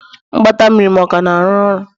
Mgbata mmiri m ka na-arụ ọrụ?